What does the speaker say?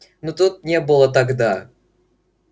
но тут не было тогда